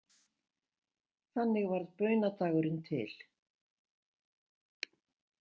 Þannig varð baunadagurinn til.